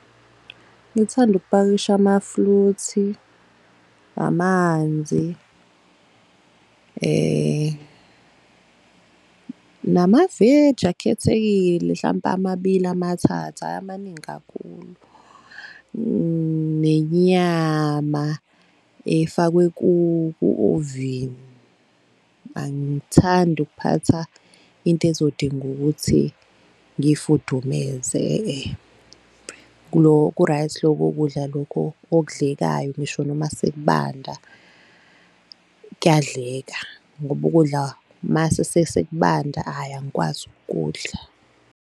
Ngithanda ukupakisha amafruthi, amanzi namaveji akhethekile hlampe amabili, amathathu, hhayi amaningi kakhulu nenyama efakwe ku-ovini. Angithandi ukuphatha into ezodinga ukuthi ngiyifudumeze ku-right loko kudla okudlekayo ngisho noma sekubanda, kuyadleka ngoba ukudla mase sekubanda hhayi angikwazi ukukudla.